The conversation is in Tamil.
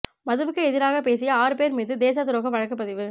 மதுவுக்கு எதிராகப் பேசிய ஆறு பேர் மீது தேசத்துரோக வழக்குப் பதிவு